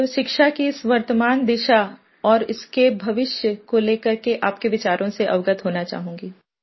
तो शिक्षा की इस वर्तमान दिशा और इसके भविष्य को ले करके आपके विचारों से अवगत होना चाहूँगी